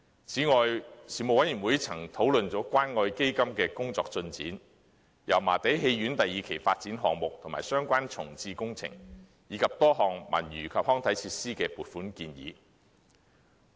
此外，事務委員會曾討論關愛基金的工作進展、油麻地戲院第二期發展項目及相關重置工程，以及多項文娛及康樂設施的撥款建議。